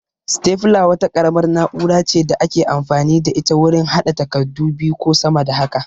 Sitefula wata ƙaramar na'ura ce da ake amfani da ita wurin haɗa takardu biyu ko sama da haka